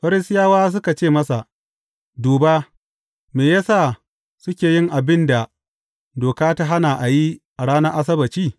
Farisiyawa suka ce masa, Duba, me ya sa suke yin abin da doka ta hana a yi, a ranar Asabbaci?